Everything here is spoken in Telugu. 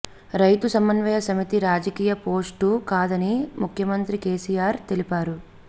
రైతు సమన్వయ సమితి రాజకీయ పోస్టు కాదని ముఖ్యమంత్రి కేసీఆర్ తెలిపారు